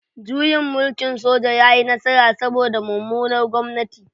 Juyin mulkin soja ya yi nasara saboda mummunar gwamnati